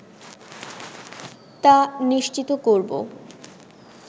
তা নিশ্চিত করবো